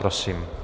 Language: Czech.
Prosím.